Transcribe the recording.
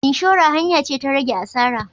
Inshora hanya ce ta rage asara.